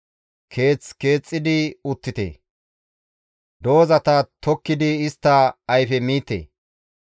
‹Keeth keexxidi uttite; doozata tokkidi istta ayfe miite;